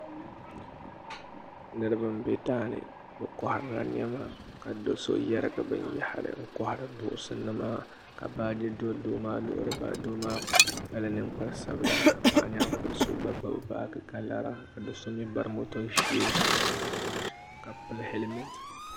Niriba n be daani bɛ koharila niɛma ka do'so yerigi binyahari n kohari dirinki nima ka baaji do doo maa luɣili doo maa kpala ninkpari sabila paɣanyaankuri so gba gbibi baaji ka lara ka do'so mee bari moto n sheegi ka pili helimenti.